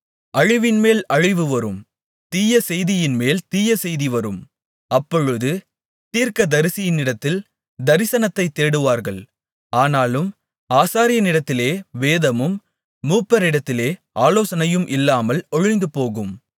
அழிவின்மேல் அழிவு வரும் தீயசெய்தியின்மேல் தீயசெய்தி வரும் அப்பொழுது தீர்க்கதரிசியினிடத்தில் தரிசனத்தைத் தேடுவார்கள் ஆனாலும் ஆசாரியனிடத்திலே வேதமும் மூப்பரிடத்திலே ஆலோசனையும் இல்லாமல் ஒழிந்துபோகும்